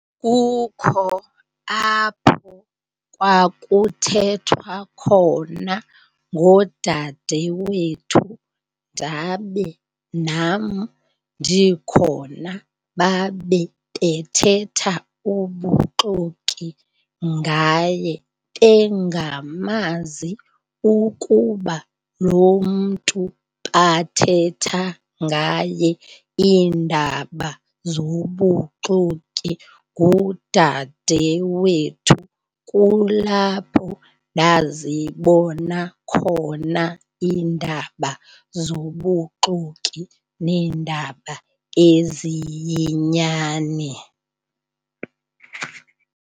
Kukho apho kwakuthethwa khona ngodadewethu ndabe nam ndikhona babe bethetha ubuxoki ngaye bengamazi ukuba lo mntu bathetha ngaye iindaba zobuxoki ngudadewethu. Kulapho ndazibona khona iindaba zobuxoki neendaba eziyinyani.